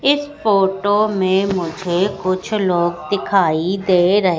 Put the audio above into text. इस फोटो में मुझे कुछ लोग दिखाई दे रहे--